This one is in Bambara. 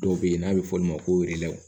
Dɔw bɛ yen n'a bɛ f'ɔlu ma ko